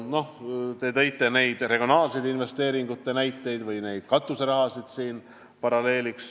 Te tõite siin paralleeliks regionaalsete investeeringute näiteid või neid katuserahasid.